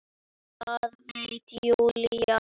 Það veit Júlía.